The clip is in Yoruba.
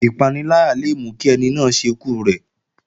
Ìpaniláyà le mú kí ẹni náà ṣekú rẹ̀